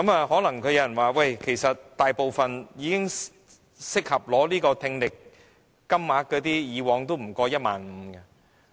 可能有人說，大部分已適合獲取聽力補償的金額以往都不超過 15,000 元。